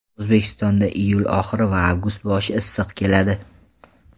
O‘zbekistonda iyul oxiri va avgust boshi issiq keladi.